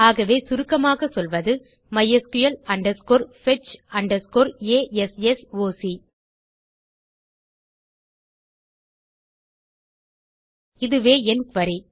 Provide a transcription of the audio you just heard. ஆகவே சுருக்கமாகச் சொல்வது mysql fetch assoc இதுவே என் குரி